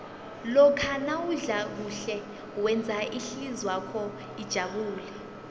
lokha nawudla kuhle wenza ihlizwakho ijabule